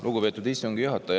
Lugupeetud istungi juhataja!